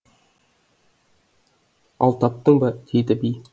ал таптың ба дейді би